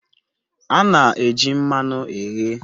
A na-eji mmanụ eghe